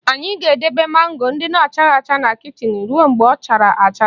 Anyị ga-edebe mango ndị na-achaghị acha na kichin ruo mgbe ọ chara acha